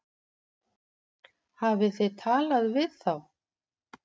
Hafið þið talað við þá?